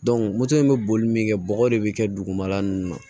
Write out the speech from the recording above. moto in bɛ boli min kɛ bɔgɔ de bɛ kɛ dugumala ninnu